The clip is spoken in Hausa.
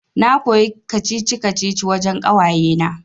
Na koyi kacici-kacici wajan ƙawayena